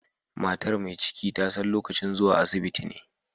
Matar mai ciki ta san lokacin zuwa asibiti ne.